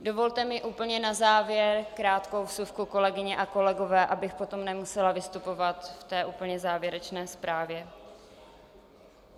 Dovolte mi úplně na závěr krátkou vsuvku, kolegyně a kolegové, abych potom nemusela vystupovat v té úplně závěrečné zprávě.